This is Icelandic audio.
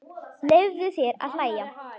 Leyfðu þér að hlæja.